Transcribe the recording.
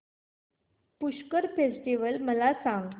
Pushkar festival मला सांग